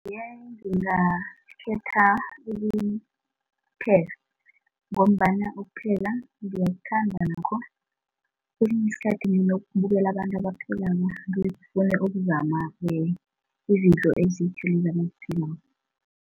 Yeah ngingakhetha ukupheka ngombana ukupheka ngiyakuthanda nakho kesinye isikhathi nginokubukela abantu abaphekako ngikghone ukuzama izinto ezitjha lezi abaziphekako.